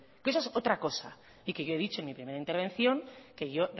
que eso es otra cosa y que yo he dicho en mi primera intervención que yo